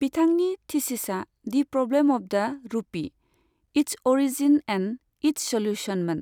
बिथांनि थीसिसआ 'the problem of the rupee its origin and its सल्यूशन'मोन।